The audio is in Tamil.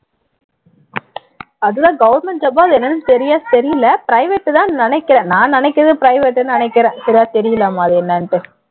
அது எல்லாம் government job ஆ என்னன்னு சரியா தெரியலை private தான்னு நினைக்கிறேன் நான் நினைக்கிறது private ன்னு நினைக்கிறேன் சரியா தெரியலைமா அது என்னன்னு